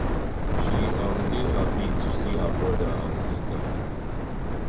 she um dey happy to see her brother and sister